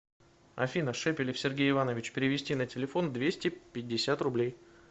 афина шепелев сергей иванович перевести на телефон двести пятьдесят рублей